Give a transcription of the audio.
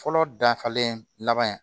Fɔlɔ dafalen laban